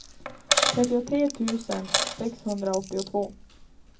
trettiotre tusen sexhundraåttiotvå